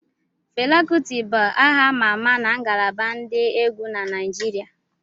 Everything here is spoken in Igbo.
Fela Kuti bụ aha ama ama na ngalaba ndi egwu na Naijiria